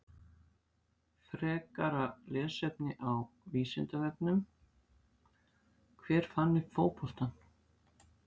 Frekara lesefni á Vísindavefnum: Hver fann upp fótboltann?